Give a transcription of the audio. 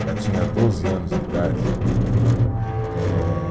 Ela tinha doze anos de idade, eh